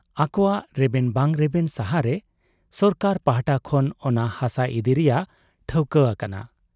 ᱟᱠᱚᱣᱟᱜ ᱨᱮᱵᱮᱱ ᱵᱟᱝ ᱨᱮᱵᱮᱱ ᱥᱟᱦᱟᱨᱮ ᱥᱚᱨᱠᱟᱨ ᱯᱟᱦᱴᱟ ᱠᱷᱚᱱ ᱚᱱᱟ ᱦᱟᱥᱟ ᱤᱫᱤ ᱨᱮᱭᱟᱜ ᱴᱷᱟᱹᱣᱠᱟᱹ ᱟᱠᱟᱱᱟ ᱾